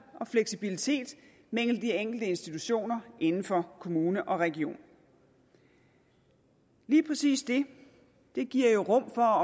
og fleksibilitet mellem de enkelte institutioner inden for kommune og region lige præcis det det giver jo rum for